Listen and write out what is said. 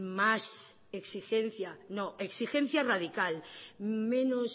más exigencia no exigencia radical menos